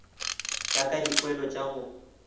ya ka dipoelo tša go